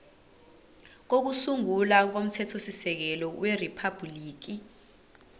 kokusungula komthethosisekelo weriphabhuliki